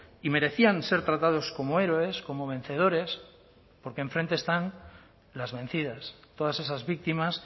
y merecían ser tratados como héroes como vencedores porque enfrente están las vencidas todas esas víctimas